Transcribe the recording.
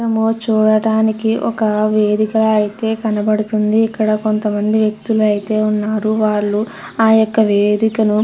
చూడడానికి ఒక వేదిక అయితే కనపడుతుంది. ఇక్కడ కొంత మంది వ్యక్తులు అయితే ఉన్నారు. వాళ్ళు ఆ యొక్క వేదికను --